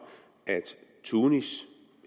at tunis